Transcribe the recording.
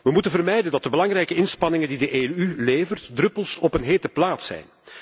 We moeten vermijden dat de belangrijke inspanningen die de EU levert, druppels op een hete plaat zijn.